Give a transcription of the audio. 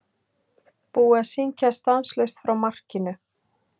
Búið að syngja stanslaust frá markinu.